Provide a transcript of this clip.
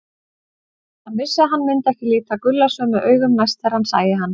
Hann vissi að hann myndi ekki líta Gulla sömu augum næst þegar hann sæi hann.